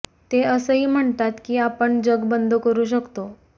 ते असंही म्हणतात की आपण जग बंद करू शकतो